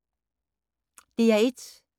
DR1